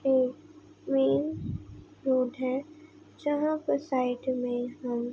एक main road है जहाँ पर साइड में हम --